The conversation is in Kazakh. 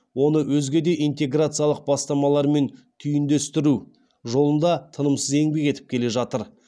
оны өзге де интеграциялық бастамалармен түйіндестіру жолында тынымсыз еңбек етіп келе жатыр